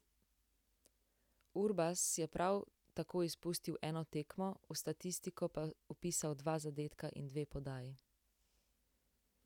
Urbas je prav tako izpustil eno tekmo, v statistiko pa vpisal dva zadetka in dve podaji.